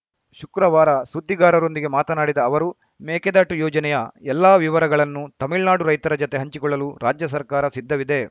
ಶುಕ್ರವಾರ ಸುದ್ದಿಗಾರರೊಂದಿಗೆ ಮಾತನಾಡಿದ ಅವರು ಮೇಕೆದಾಟು ಯೋಜನೆಯ ಎಲ್ಲಾ ವಿವರಗಳನ್ನು ತಮಿಳುನಾಡು ರೈತರ ಜತೆ ಹಂಚಿಕೊಳ್ಳಲು ರಾಜ್ಯ ಸರ್ಕಾರ ಸಿದ್ಧವಿದೆ